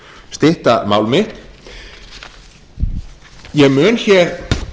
stytta mál mitt ég mun hér